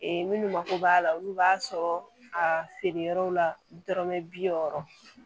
minnu mako b'a la olu b'a sɔrɔ a feere yɔrɔw la dɔrɔmɛ bi wɔɔrɔ